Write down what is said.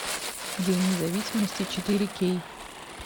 день независимости четыре кей